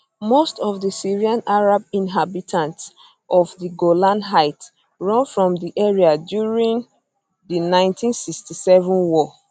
most of di syrian arab inhabitants of di golan heights run from di area during during di 1967 war